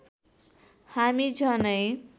हामी झनै